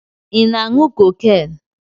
Ị na-aṅụ cocaine?